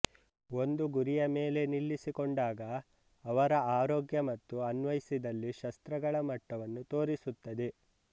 ಒಂದು ಗುರಿಯ ಮೇಲೆ ನಿಲ್ಲಿಸಿಕೊಂಡಾಗ ಅವರ ಆರೋಗ್ಯ ಮತ್ತು ಅನ್ವಯಿಸಿದಲ್ಲಿ ಶಸ್ತ್ರಗಳ ಮಟ್ಟವನ್ನೂ ತೋರಿಸುತ್ತದೆ